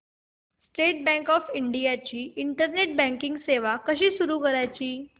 state bank of India ची internet banking सेवा कशी सुरू करायची